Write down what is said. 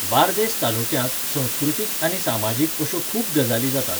बार्देस तालुक्यांत संस्कृतीक आनी सामाजीक अश्यो खूब गजाली जातात.